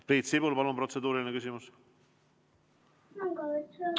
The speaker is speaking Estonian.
Priit Sibul, palun, protseduuriline küsimus!